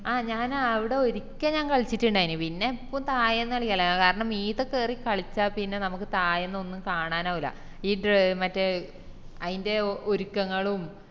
ആ ഞാൻ അവിടെ ഒരിക്കെ ഞാൻ കളിച്ചിറ്റിണ്ടായിനി പിന്നെ എപ്പോ തായെന്ന് കളിക്കല കാരണം മീത്തെ കേരി കളിച്ച പിന്നെ നമുക്ക് തായെന്ന് ഒന്നും കാണാനാവൂ ഈ ടെ മറ്റേ അയിന്റെ ഒരുക്കങ്ങളും